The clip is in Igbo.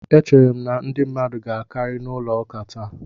E chere m na ndị mmadu ga akari n'ulo ụka taa